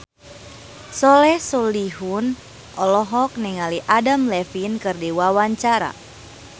Soleh Solihun olohok ningali Adam Levine keur diwawancara